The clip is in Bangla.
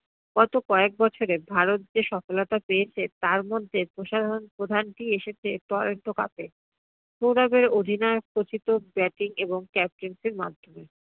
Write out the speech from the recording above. গত কয়েক বছরে ভারত যে সফলতা পেয়েছে তার মধ্যে প্রধানটি এসেছে cup এ । সৌরভের অধিনায়ক খচিত batting এবং captaincy এর মাধ্যমে।